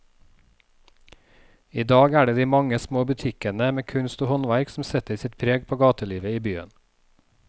I dag er det de mange små butikkene med kunst og håndverk som setter sitt preg på gatelivet i byen.